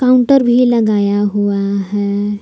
Counter भी लगाया हुआ है।